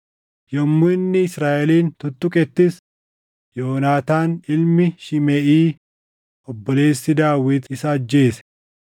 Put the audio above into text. Yommuu inni Israaʼelin tuttuqettis, Yoonaataan ilmi Shimeʼii obboleessi Daawit isa ajjeese.